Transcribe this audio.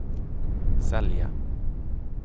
sälja